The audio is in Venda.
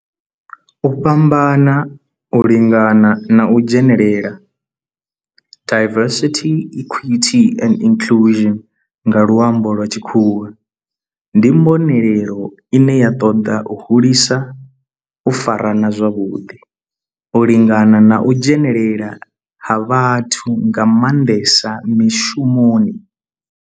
U fhambana, u lingana na u dzhenelela diversity, equity and inclusion nga lwambo lwa tshikhuwa ndi mbonelelo ine ya ṱoḓa u hulisa u farana zwavhudi, u lingana na u dzhenelela ha vhathu nga manḓesa mishumoni.